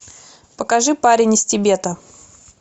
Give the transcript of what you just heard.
покажи парень из тибета